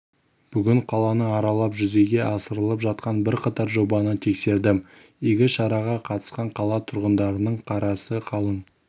бүгін қаланы аралап жүзеге асырылып жатқан бірқатар жобаны тексердім игі шараға қатысқан қала тұрғындарының қарасы қалың